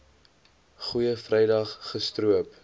goeie vrydag gestroop